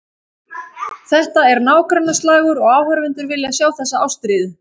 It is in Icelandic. Þetta er nágrannaslagur og áhorfendur vilja sjá þessa ástríðu.